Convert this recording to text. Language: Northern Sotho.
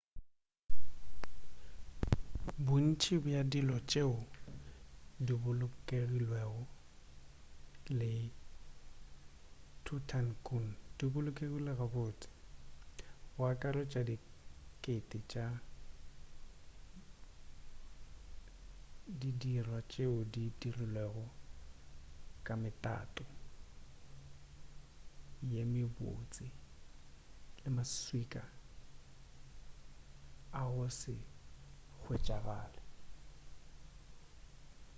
bontši bja dilo tšeo di bolokilwego le tutankhamun di bolokilwe gabotse go akaretšwa dikete tša didirwa tšeo di dirilwego ka metato ye mebotse le maswika a go se hwetšagale